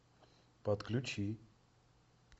подключи